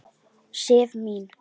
Sif mín!